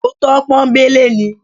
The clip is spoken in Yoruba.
Òótọ́ pọ́nńbélé ni.